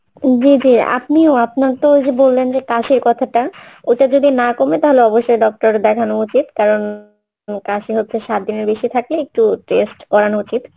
জি জি আপনিও আপনার তো ওই যে বললেন যে কাশির কথাটা ওটা যদি না কমে তাহলে অবশ্যই doctor দেখানো উচিত কারণ, কাশি হচ্ছে সাত দিনের বেশি থাকলে একটু test করানো উচিত